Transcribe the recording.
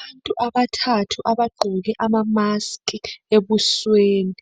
abantu abathathu abagqoke ama mask ebusweni